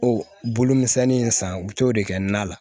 O bolomisɛnnin in san u bi t'o de kɛ na la